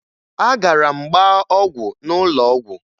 Agara m gbaa ọgwụ n'ụlọ ọgwụ